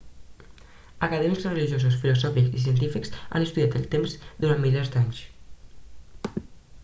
acadèmics religiosos filosòfics i científics han estudiat el temps durant milers d'anys